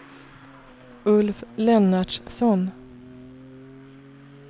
Ulf Lennartsson